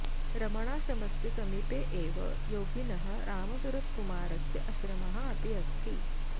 रमणाश्रमस्य समीपे एव योगिनः रामसुरत्कुमारस्य आश्रमः अपि अस्ति